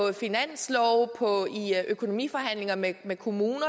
i finanslove i økonomiforhandlinger med med kommunerne og